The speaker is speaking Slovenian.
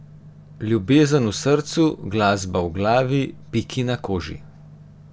Ljubezen v srcu, glasba v glavi, piki na koži.